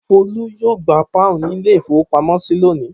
Folú yóò gba pọ́ùn ní ilé-ìfowópamọ́sí lónìí.